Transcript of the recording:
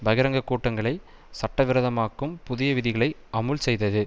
பகிரங்க கூட்டங்களை சட்டவிரோதமாக்கும் புதிய விதிகளை அமுல் செய்தது